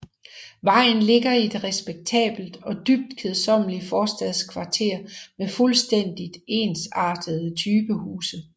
Vejen ligger i et respektabelt og dybt kedsommeligt forstadskvarter med fuldstændigt ensartede typehuse